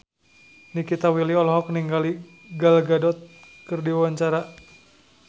Nikita Willy olohok ningali Gal Gadot keur diwawancara